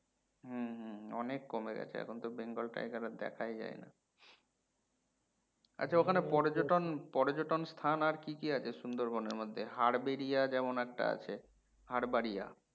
হম হম অনেক কমে গেছে এখন তো bengal tiger আর দেখাই যাই না আচ্ছা ওখানে পর্যটন পর্যটন স্থান আর কি কি আছে সুন্দরবন এর মধ্যে হারবাড়িয়া যেমন একটা আছে হারবাড়িয়া